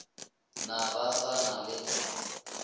na ba sa na le